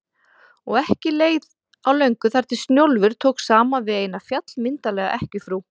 Og ekki leið á löngu þar til Snjólfur tók saman við eina, fjallmyndarlega ekkjufrú